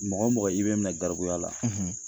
Mɔgɔ mɔgɔ i bɛ minɛ garibuya la